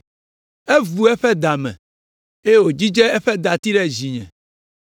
Evu eƒe da me eye wòdzidze eƒe dati ɖe dzinye.